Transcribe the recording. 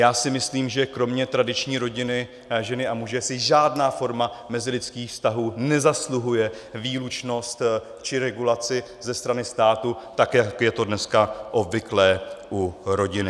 Já si myslím, že kromě tradiční rodiny ženy a muže si žádná forma mezilidských vztahů nezasluhuje výlučnost či regulaci ze strany státu, tak jak je to dneska obvyklé u rodiny.